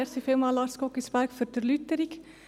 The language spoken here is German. Ich danke Lars Guggisberg für die Erläuterung.